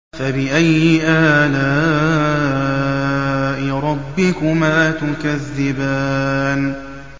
فَبِأَيِّ آلَاءِ رَبِّكُمَا تُكَذِّبَانِ